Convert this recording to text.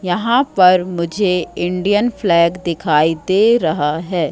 यहां पर मुझे इंडियन फ्लैग दिखाई दे रहा है।